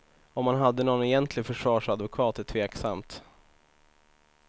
Om han hade någon egentlig försvarsadvokat är tveksamt.